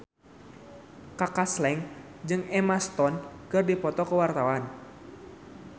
Kaka Slank jeung Emma Stone keur dipoto ku wartawan